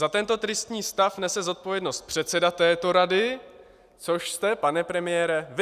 Za tento tristní stav nese zodpovědnost předseda této rady, což jste, pane premiére, vy.